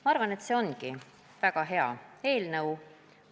Ma arvan, et see ongi väga hea eelnõu.